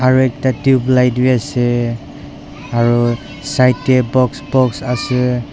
aru ekta tubelight bi ase aru side te box box ase.